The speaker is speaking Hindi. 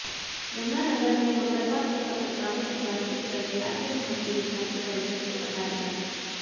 यमुनानगर में मंगलवार को पत्रकारों से बातचीत करते अखिल भारतीय विद्यार्थी परिषद के पदाधिकारी